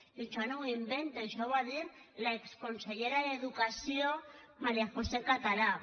i això no m’ho invente això ho va dir l’exconsellera d’educació maría josé català